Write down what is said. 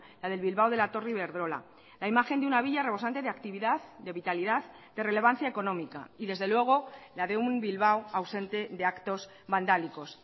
la del bilbao de la torre iberdrola la imagen de una villa rebosante de actividad de vitalidad de relevancia económica y desde luego la de un bilbao ausente de actos vandálicos